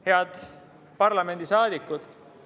Head parlamendi liikmed!